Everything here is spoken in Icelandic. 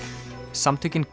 samtökin